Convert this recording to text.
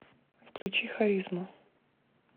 включи харизму